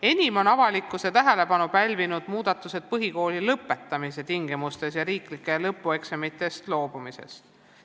Enim on avalikkuse tähelepanu pälvinud muudatused põhikooli lõpetamise tingimustes ja riiklikest lõpueksamitest loobumises.